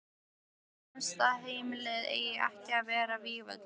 Mér finnst að heimilið eigi ekki að vera vígvöllur.